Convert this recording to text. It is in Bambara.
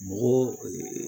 Mɔgɔ